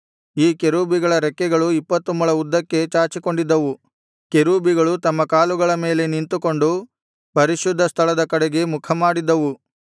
ಈ ಕೆರೂಬಿಗಳ ರೆಕ್ಕೆಗಳು ಇಪ್ಪತ್ತು ಮೊಳ ಉದ್ದಕ್ಕೆ ಚಾಚಿಕೊಂಡಿದ್ದವು ಕೆರೂಬಿಗಳು ತಮ್ಮ ಕಾಲುಗಳ ಮೇಲೆ ನಿಂತುಕೊಂಡು ಪರಿಶುದ್ಧ ಸ್ಥಳದ ಕಡೆಗೆ ಮುಖಮಾಡಿದ್ದವು